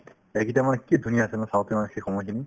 সেই কি ধুনীয়া আছিল ন shaktiman ৰ সেই সময়খিনি